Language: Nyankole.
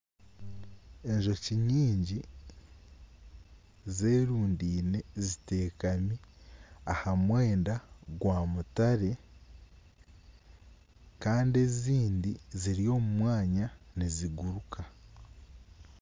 Enjoki nyingi zerundeine ziteekami ahamwenda gwa mutare Kandi ezindi ziri omumwanya niziguruka.